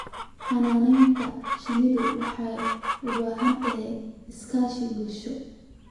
Xannaanada shinnidu waxay u baahan tahay iskaashi bulsho.